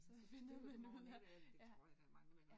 Så fortryder går den ikke af men det tror jeg der er mange der gør